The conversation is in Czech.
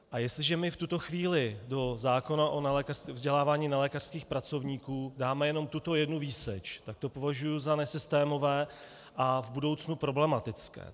A jestliže my v tuto chvíli do zákona o vzdělávání nelékařských pracovníků dáme jenom tuto jednu výseč, tak to považuji za nesystémové a v budoucnu problematické.